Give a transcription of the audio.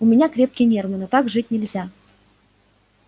у меня крепкие нервы но так жить нельзя